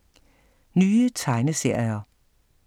Nye tegneserier